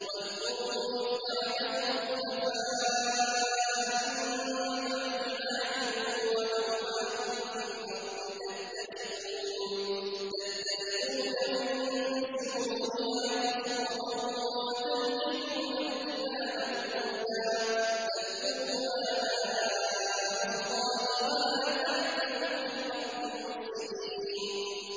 وَاذْكُرُوا إِذْ جَعَلَكُمْ خُلَفَاءَ مِن بَعْدِ عَادٍ وَبَوَّأَكُمْ فِي الْأَرْضِ تَتَّخِذُونَ مِن سُهُولِهَا قُصُورًا وَتَنْحِتُونَ الْجِبَالَ بُيُوتًا ۖ فَاذْكُرُوا آلَاءَ اللَّهِ وَلَا تَعْثَوْا فِي الْأَرْضِ مُفْسِدِينَ